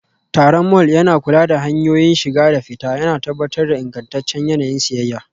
Tsaron mall yana kula da hanyoyin shiga da fita, yana tabbatar da ingantaccen yanayin siyayya.